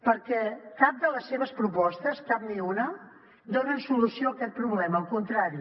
perquè cap de les seves propostes cap ni una donen solució a aquest problema al contrari